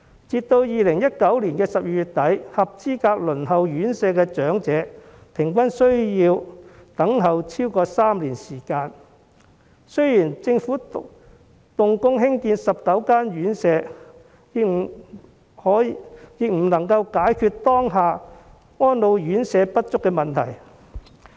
截至2019年12月底，輪候院舍的合資格長者平均需要等候超過3年，儘管政府動工興建19間院舍，亦無法解決當下安老院舍不足的問題。